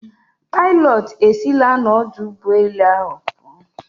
Pilot esila n'ọdụ ụgbọelu ahụ pụọ.